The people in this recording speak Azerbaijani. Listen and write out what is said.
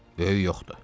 "Böyük yoxdur.